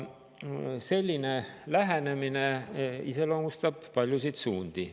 Selline lähenemine iseloomustab paljusid suundi.